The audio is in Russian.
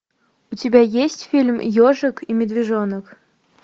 у тебя есть фильм ежик и медвежонок